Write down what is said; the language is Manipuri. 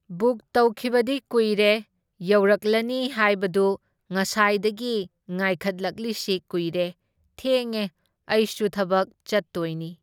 ꯕꯨꯛ ꯇꯧꯈꯤꯕꯗꯤ ꯀꯨꯏꯔꯦ, ꯌꯧꯔꯛꯂꯅꯤ ꯍꯥꯏꯕꯗꯨ ꯉꯁꯥꯏꯗꯒꯤ ꯉꯥꯏꯈꯠꯂꯛꯂꯤꯁꯤ ꯀꯨꯏꯔꯦ, ꯊꯦꯡꯉꯦ ꯑꯩꯁꯨ ꯊꯕꯛ ꯆꯠꯇꯣꯏꯅꯤ ꯫